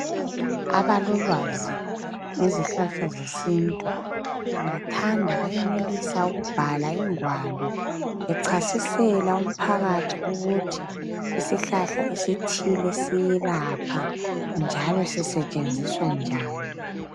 Abalolwazi ngezihlahla zesintu bengathanda bayenelisa ukubhalwa ingwalo bechasisela umphakathi ukuthi isihlahla esithile siyelapha njalo sisetshenziswa njani.